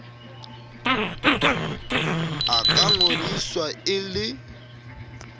a ka ngodiswa e le